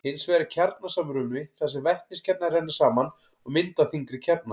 hins vegar er kjarnasamruni þar sem vetniskjarnar renna saman og mynda þyngri kjarna